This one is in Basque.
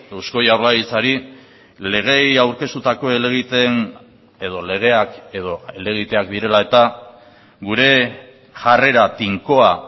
eusko jaurlaritzari legeei aurkeztutako helegiteen edo legeak edo helegiteak direla eta gure jarrera tinkoa